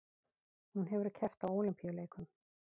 Hún hefur keppt á Ólympíuleikum